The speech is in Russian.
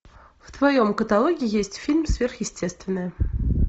в твоем каталоге есть фильм сверхъестественное